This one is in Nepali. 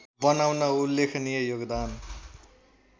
बनाउन उल्लेखनीय योगदान